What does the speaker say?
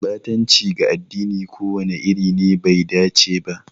Ɓatanci ga addini ko wani iri ne bai dace ba.